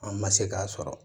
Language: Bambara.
An ma se k'a sɔrɔ